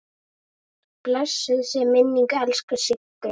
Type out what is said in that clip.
Blessuð sé minning elsku Siggu.